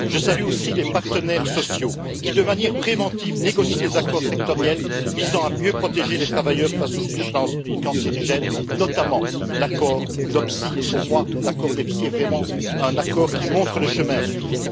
Je salue aussi les partenaires sociaux qui, de manière préventive, négocient des accords sectoriels visant à mieux protéger les travailleurs face aux substances cancérigènes, notamment l'accord NEPSI qui, pour moi, est vraiment un accord qui montre le chemin à suivre.